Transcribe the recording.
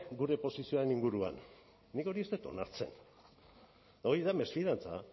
gure posizioaren inguruan nik hori ez dut onartzen eta hori da mesfidantza